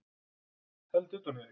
Held utan um þig.